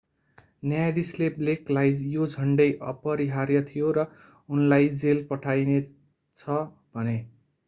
न्यायाधीशले blakeलाई यो झण्डै अपरिहार्य थियो र उनलाई जेल पठाइने छ भने।